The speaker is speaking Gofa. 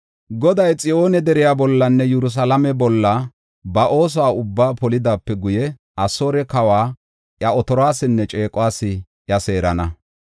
Goday Xiyoone deriya bollanne Yerusalaame bolla ba oosuwa ubbaa polidaape guye, Asoore kawa iya otoruwasinne ceequwas iya seerana.